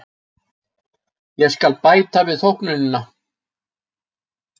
Ég skal bæta við þóknunina.